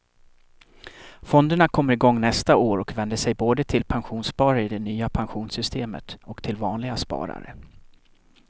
Fonderna kommer igång nästa år och vänder sig både till pensionssparare i det nya pensionssystemet och till vanliga sparare.